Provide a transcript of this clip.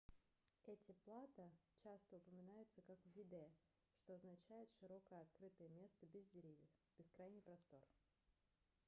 эти плато часто упоминаются как vidde что означает широкое открытое место без деревьев бескрайний простор